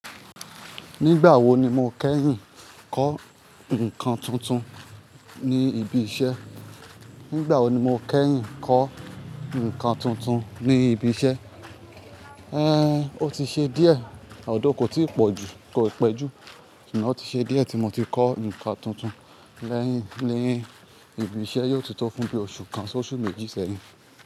Nígbà wo ni mo kẹ́yìn kọ́ nǹkan tuntun ní ibi iṣẹ́? Nígbà wo ni mo kẹ́yìn kọ́ nǹkan tuntun ní ibi iṣẹ́? Ẹ́, ó ti ṣe díẹ̀, although kò tí pọ̀ ju, kò ì pẹ́jú, sugbon o tí ṣe díẹ̀ tí mo ti kọ́ nǹkan tuntun lẹ́yìn, ní ibi iṣẹ́ yóò tó tó fún bí oṣù kan sí oṣù méjì sẹ́yìn.